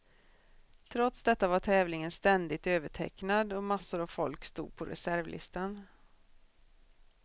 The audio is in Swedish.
Trots detta var tävlingen ständigt övertecknad och massor av folk stod på reservlistan.